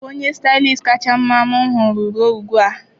Ọ bụ onye Stylist kacha mma m hụworo ruo ugbu a.